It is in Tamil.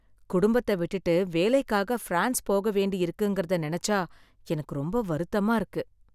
குடும்பத்த விட்டுட்டு வேலைக்காக ஃபிரான்ஸ் போக வேண்டியிருக்குங்கிறத நெனச்சா எனக்கு ரொம்ப வருத்தமா இருக்கு.